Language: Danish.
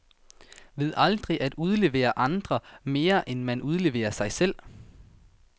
Ved aldrig at udlevere andre, mere end man udleverer sig selv.